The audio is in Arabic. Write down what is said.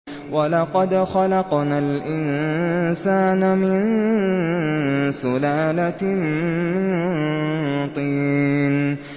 وَلَقَدْ خَلَقْنَا الْإِنسَانَ مِن سُلَالَةٍ مِّن طِينٍ